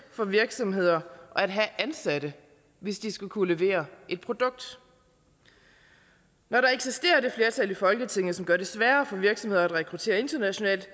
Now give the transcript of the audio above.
for virksomheder at have ansatte hvis de skal kunne levere et produkt når der eksisterer det flertal i folketinget som gør det sværere for virksomheder at rekruttere internationalt